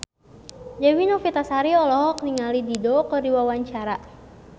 Dewi Novitasari olohok ningali Dido keur diwawancara